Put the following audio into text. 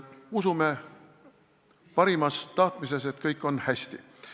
Usume parimas tahtmises, et kõik on hästi.